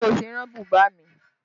Ṣé o ti rán bùbá mi?